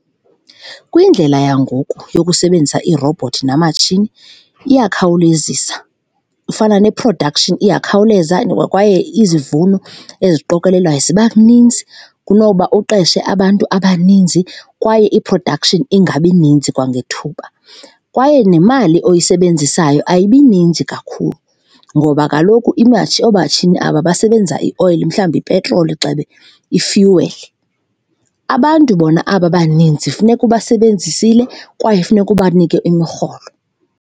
Kwindlela yangoku yokusebenzisa iirobhothi namatshini iyakhawulezisa, ifana ne-production iyakhawuleza kwaye izivuno eziqokelelwayo ziba ninzi kunoba uqeshe abantu abaninzi kwaye i-production ingabi ninzi kwangethuba. Kwaye nemali oyisebenzisayo ayibi ninzi kakhulu ngoba kaloku iimatshini, oomatshini aba basebenza ioyile mhlawumbi ipetroli, gxebe, i-fuel. Abantu bona aba baninzi funeka ubasebenzisile kwaye funeka ubanike imirholo.